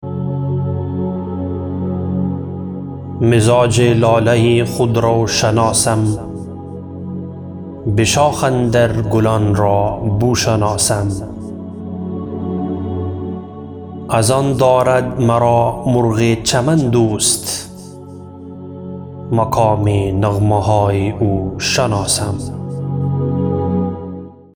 مزاج لاله خود رو شناسم بشاخ اندر گلان را بو شناسم از آن دارد مرا مرغ چمن دوست مقام نغمه های او شناسم